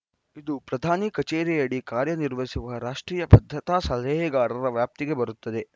ಇದು ಪ್ರಧಾನಿ ಕಚೇರಿಯಡಿ ಕಾರ್ಯನಿರ್ವಹಿಸುವ ರಾಷ್ಟ್ರೀಯ ಭದ್ರತಾ ಸಲಹೆಗಾರರ ವ್ಯಾಪ್ತಿಗೆ ಬರುತ್ತದೆ